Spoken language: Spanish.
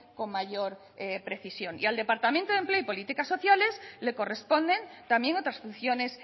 con mayor precisión y al departamento de empleo y políticas sociales le corresponden también otras funciones